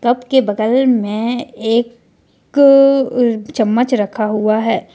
Cup बगल में एक चम्मच रखा हुआ है।